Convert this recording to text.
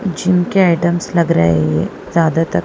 झुमके आइटम्स लग रहे है ये ज्यादातर--